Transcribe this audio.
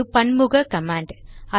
அது பன்முக கமாண்ட்